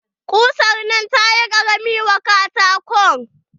Kusan nan tayi ƙarami wa katakon.